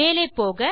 மேலே போக